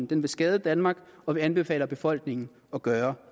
den vil skade danmark og vi anbefaler befolkningen at gøre